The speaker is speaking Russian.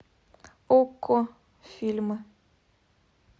окко фильмы